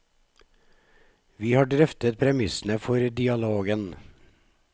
Vi har drøftet premissene for dialogen.